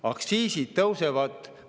Aktsiisid tõusevad.